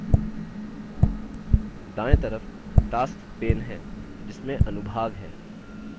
दाएँ तरफ tasks pane हैं जिसमें अनुभाग है